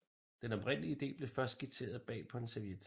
Den oprindelige ide blev først skitseret bag på en serviet